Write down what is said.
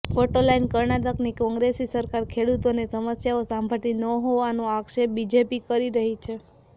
photo line કર્ણાટકની કોંગ્રેસી સરકાર ખેડૂતોની સમસ્યાઓ સાંભળતી ન હોવાનો આક્ષેપ બીજેપી કરી રહી છે